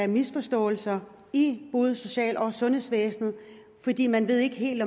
misforståelser i både social og sundhedsvæsenet fordi man ikke helt